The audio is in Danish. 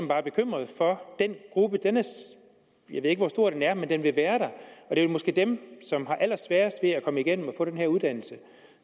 bare bekymret for den gruppe jeg ved ikke hvor stor den er men den vil være der og det er måske dem som har allersværest ved at komme igennem og få den her uddannelse